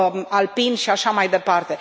alpin și așa mai departe.